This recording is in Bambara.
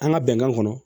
An ka bɛnkan kɔnɔ